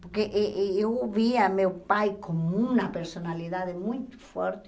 Porque e e eu ouvia meu pai como uma personalidade muito forte.